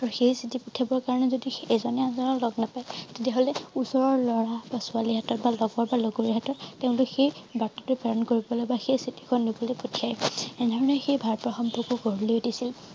আৰু সেই চিঠি পঠিয়াবৰ কাৰণে যদি এজনে আনজনক লগ নাপায় তেতিয়া হলে ওচৰৰ লৰা বা ছোৱালী হাতত বা লগৰ বা লগৰীয়া হাতত তেওঁ সেই বাৰ্তাটো প্ৰেৰণ কৰিবলৈ বা সেই চিঠি খন দিবলৈ পঠিয়াই এনে ধৰণে সেই ভালপোৱা সম্পৰ্ক গঢ়লৈ উঠিছিল